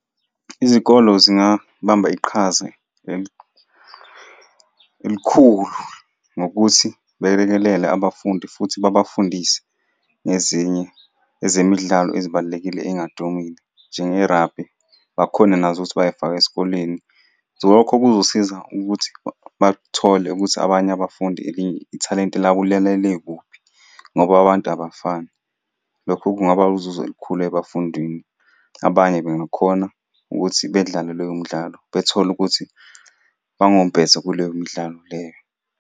Izikolo zingabamba iqhaze elikhulu ngokuthi belekelele abafundi, futhi babafundise ngezinye ezemidlalo ezibalulekile ey'ngadumile, njenge-rugby. Bakhone nazo ukuthi bay'fake esikoleni. Lokho kuzosiza ukuthi bathole ukuthi abanye abafundi ithalente labo lilele kuphi, ngoba abantu abafani. Lokho kungaba uzuzo olukhulu ebafundini, abanye bengakhona ukuthi bedlale leyo midlalo bethole ukuthi bangompetha kuleyo midlalo leyo.